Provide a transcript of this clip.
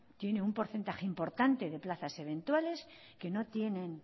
tiene un porcentaje importante de plazas eventuales que no tienen